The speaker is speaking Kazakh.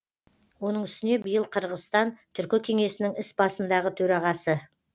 оның үстіне биыл қырғызстан түркі кеңесінің іс басындағы төрағасы